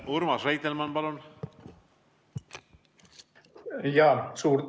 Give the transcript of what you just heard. Urmas Reitelmann, palun!